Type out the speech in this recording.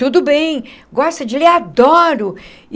Tudo bem, gosta de ler, adoro.